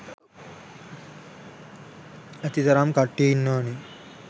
ඇති තරම් කට්ටිය ඉන්නවනේ.